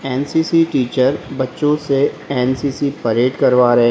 NCC teacher बच्चों से NCC parade करवा रहे--